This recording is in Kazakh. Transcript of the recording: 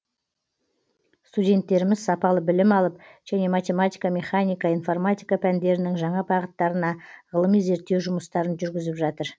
студенттеріміз сапалы білім алып және математика механика информатика пәндерінің жаңа бағыттарына ғылыми зерттеу жұмыстарын жүргізіп жатыр